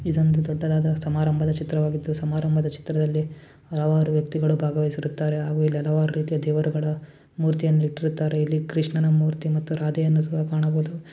ಇದೊಂದು ದೊಡ್ಡದಾದ ಸಮಾರಂಭದ ಚಿತ್ರವಾಗಿದ್ದು ಸಮಾರಂಭದ ಚಿತ್ರದಲ್ಲಿ ಹಲವಾರು ವ್ಯಕ್ತಿಗಳು ಭಾಗವಹಿಸುತ್ತಾರೆ ಹಾಗು ಹಲವಾರು ರೀತಿಯ ದೇವರುಗಳ ಮೂರ್ತಿಯನ್ನು ಇಟ್ಟಿರುತ್ತಾರೆ ಇಲ್ಲಿ ಕೃಷ್ಣನ ಮೂರ್ತಿ ಮತ್ತು ರಾಧೆ ವಿಗ್ರಹವನ್ನು ಕಾಣಬಹುದು .